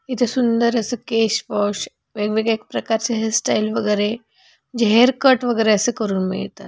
इथे सुंदर केश वॉश वेग-वेगळ्या प्रकारच्या हेयर स्टाइल वगैरे हेयर कट अस करून मिळत.